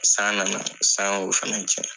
San na na san y'o fɛnɛ cɛn.